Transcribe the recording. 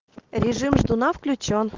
режим ждуна включён